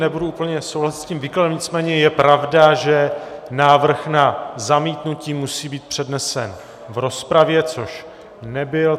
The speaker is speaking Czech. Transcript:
Nebudu úplně souhlasit s tím výkladem, nicméně je pravda, že návrh na zamítnutí musí být přednesen v rozpravě, což nebyl.